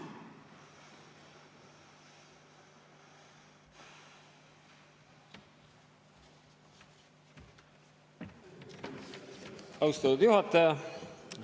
Austatud juhataja!